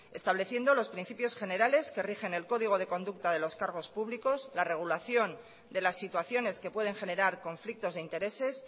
estableciendo los principios generales que rigen el código de conducta de los cargos públicos la regulación de las situaciones que pueden generar conflictos de intereses